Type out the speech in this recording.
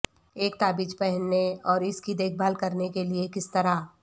ایک تابیج پہننے اور اس کی دیکھ بھال کرنے کے لئے کس طرح